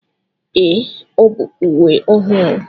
Ee, ọ bụ uwe ọhụrụ.